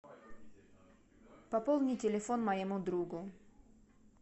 пополни телефон моему другу